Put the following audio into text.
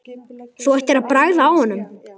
Þú ættir að bragða á honum